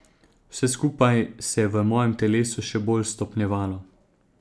Vse skupaj se je v mojem telesu še bolj stopnjevalo.